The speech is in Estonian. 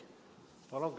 Palun küsimus!